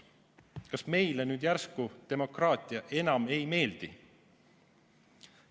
Kas meile nüüd järsku demokraatia enam ei meeldi?